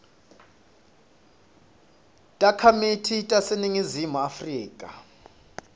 takhamiti taseningizimu afrika